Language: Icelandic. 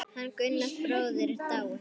Hann Gunnar bróðir er dáinn.